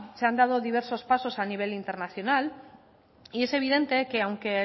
se han dado diversos pasos a nivel internacional y es evidente que aunque